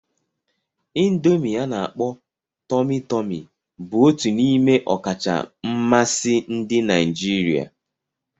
Indomi ana-akpo Tomi-Tomi bụ otu n'ime ọkacha mmasị ndị Naijiria.